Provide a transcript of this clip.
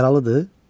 Yaralıdır?